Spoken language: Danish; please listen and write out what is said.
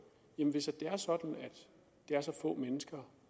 hvis det er sådan at det er så få mennesker